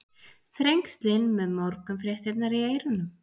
Þrengslin með morgunfréttirnar í eyrunum.